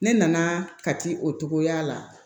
Ne nana kati o togoya la